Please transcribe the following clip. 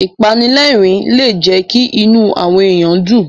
Ìpanilẹ́rìn-ín lè jẹ́ kí inú àwọn èyàn dùn.